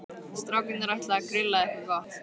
Strákarnir ætla að grilla eitthvað gott.